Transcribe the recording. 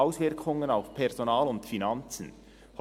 «Auswirkungen auf Personal und Finanzen?»